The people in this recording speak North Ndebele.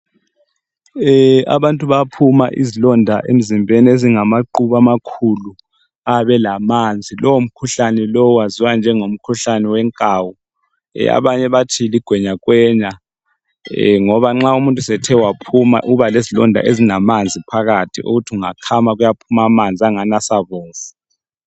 Abantu bayaphuma izilonda emzimbeni ezingamaqhubu amakhulu ayabe elamanzi. Lowomkhuhlan waziwa njengomkhuhlane wenkawu. Abanye bathi ligwenyakwenya ngoba nxa umuntu sethe waphuma ubalezilonda ezingamanzi phakathi okuthi ungakhama kuyaphuma amanzi asabomvu.